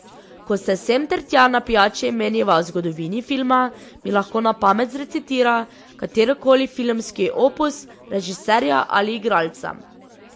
Ko se sem ter tja na pijači meniva o zgodovini filma, mi lahko na pamet zrecitira katerikoli filmski opus režiserja ali igralca.